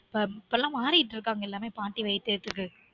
இப்ப இப்ப எல்லாமே பாட்டி வைத்தியத்துக்கு